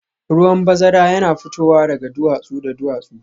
Ruwan bazara yana fitowa daga duwatsu da duwatsu